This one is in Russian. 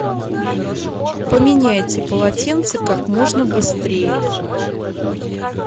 поменяйте полотенце как можно быстрее